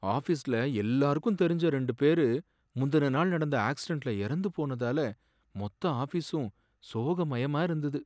ஆஃபீஸ்ல எல்லாருக்கும் தெரிஞ்ச ரெண்டு பேரு முந்தின நாள் நடந்த ஆக்சிடென்ட்ல இறந்து போனதால மொத்த ஆஃபீஸும் சோகமயமா இருந்தது.